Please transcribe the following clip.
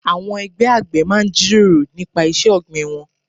Àwọn ẹgbẹ́ àgbẹ̀ máa ń jíròrò nípa iṣẹ́ ọ̀gbìn wọn.